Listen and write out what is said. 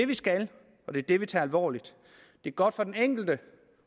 vi skal og det er det vi tager alvorligt det er godt for den enkelte